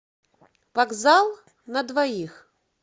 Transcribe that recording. вокзал на двоих